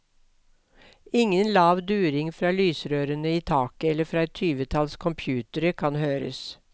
Ingen lav during fra lysrørene i taket eller fra et tyvetalls computere kan høres.